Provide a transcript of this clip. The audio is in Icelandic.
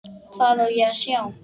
Hvað á ég að sjá?